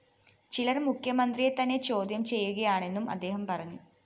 ചിലര്‍ മുഖ്യമന്ത്രിയെ തന്നെ ചോദ്യം ചെയ്യുകയാണെന്നും അദ്ദേഹം പറഞ്ഞു